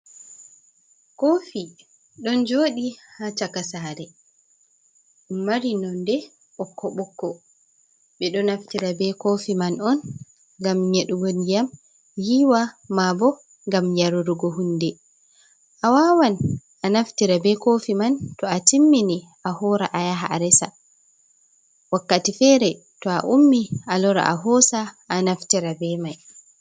Koofi ɗon jooɗi ha chaka saare. Mari nonde ɓokko ɓokko, ɓe ɗo naftira be koofi man on ngam nyeɗugo ndiyam yiwa, maabo ngam yarurgo hunde, a wawan a naftira be koofi man to a timmini a hoora a yaha a resa wakkati fere to a ummi a lora a hosa a naftira be mai.